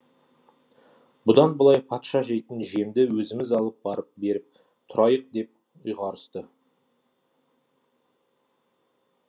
бұдан былай патша жейтін жемді өзіміз алып барып беріп тұрайық деп ұйғарысты